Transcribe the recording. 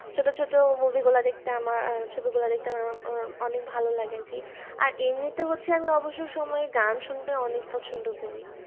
ছোট ছোট movie গুলা দেখতে আমার ছবি গুলা দেখতে আমার আহ অনেক ভালো লাগে আরকি আর এমনিতে হচ্ছে আমি অবসর সময়ে গান শুনতে অনেক পছন্দ করি